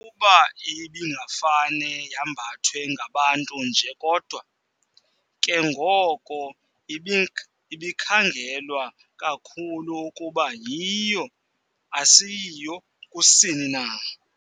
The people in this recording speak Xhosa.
kuba ibingafane yambathwe ngabantu nje kodwa, ke ngoko ibikhangelwa kakhulu ukuba yiyo asiyiyo kusini na.